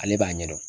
Ale b'a ɲɛdɔn